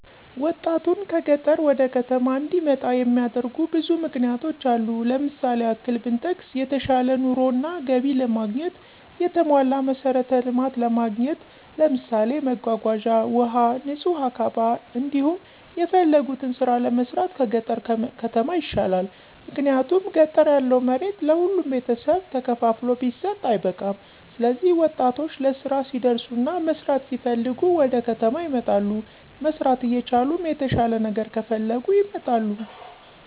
ወጣቱን ከገጠር ወደ ከተማ እንዲመጣ የሚያደርጉ ብዙ ምክንያቶች አሉ። ለምሳሌ ያክል ብንጠቅስ የተሻለ ኑሮ እና ገቢ ለማግኘት፣ የተሟላ መሠረተ ልማት ለማግኘት ለምሳሌ መጓጓዣ፣ ውሀ፣ ንጹህ አካባ፤ እንዲሁም የፈለጉትን ስራ ለመስራት ከገጠር ከተማ ይሻላል። ምክንያቱም ገጠር ያለው መሬት ለሁሉም ቤተሰብ ተከፋፍሎ ቢሰጥ አይበቃም ስለዚህ ወጣቶች ለስራ ሲደርሱና መስራት ሲፈልጉ ወደከተማ ይመጣሉ። መስራት እየቻሉም የተሻለ ነገር ከፈለጉ ይመጣሉ